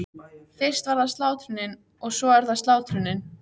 Fyrst var það slátrunin- og svo er það slátrunin.